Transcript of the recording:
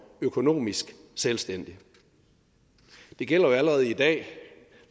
økonomisk selvstændig det gælder jo allerede i dag